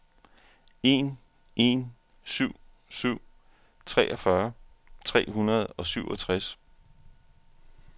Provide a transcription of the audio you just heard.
en en syv syv treogfyrre tre hundrede og syvogtres